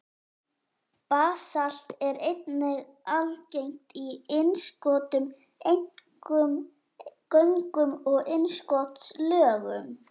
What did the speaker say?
Basalt er einnig algengt í innskotum, einkum göngum og innskotslögum.